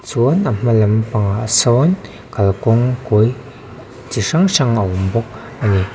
chuan a hma lampang ah sawn kalkawng kawi chi hrang hrang a awm bawk a ni.